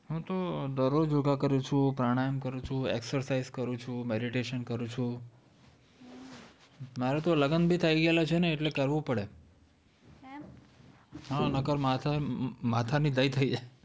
હમ્મ હું તો દર રોજ યોગા કરું છું પ્રાણાયામ કરું છુ exercise કરું છું meditation કરું છુ મારે તો લગન બી થઇ ગયેલા છે તો કરવું જ પડે નક્કર માથા ની દહીં થઇ જાય